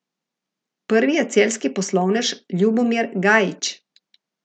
Prvi je celjski poslovnež Ljubomir Gajić.